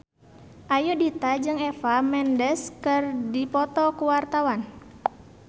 Ayudhita jeung Eva Mendes keur dipoto ku wartawan